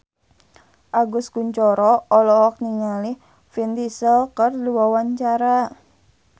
Agus Kuncoro olohok ningali Vin Diesel keur diwawancara